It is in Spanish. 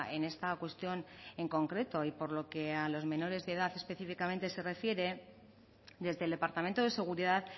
en esta cuestión en concreto y por lo que a los menores de edad específicamente se refiere desde el departamento de seguridad